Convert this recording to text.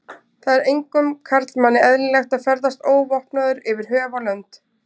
Það er engum karlmanni eðlilegt að ferðast óvopnaður yfir höf og lönd.